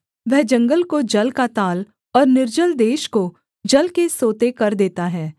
वह जंगल को जल का ताल और निर्जल देश को जल के सोते कर देता है